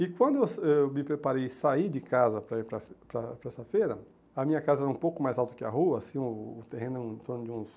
E quando eh eu me preparei e saí de casa para ir para para para esta feira, a minha casa era um pouco mais alta que a rua, assim o o terreno é um torno de uns